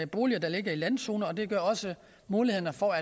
boliger der ligger i landzonerne og det gør også mulighederne for